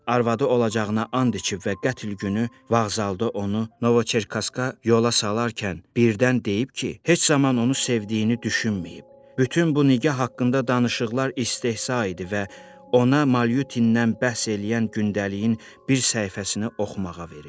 Arvadı olacağına and içib və qətl günü vağzalda onu Novoçerkaskaya yola salarkən birdən deyib ki, heç zaman onu sevdiyini düşünməyib, bütün bu nigah haqqında danışıqlar istehza idi və ona Malyutindən bəhs eləyən gündəliyin bir səhifəsini oxumağa verib.